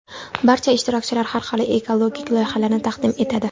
Barcha ishtirokchilar xalqaro ekologik loyihalarni taqdim etadi.